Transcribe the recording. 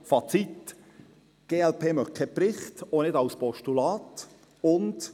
Fazit: Die glp möchte keinen Bericht, sie lehnt auch ein Postulat ab.